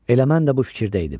Elə mən də bu fikirdə idim.